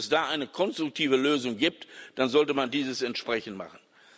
Und wenn es da eine konstruktive Lösung gibt, dann sollte man das entsprechend machen.